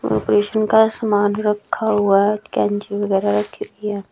Operation का सामान रखा हुआ है कैंची-वगैरा रखी हुई है।